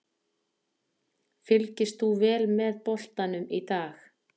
Fylgist þú vel með boltanum í dag?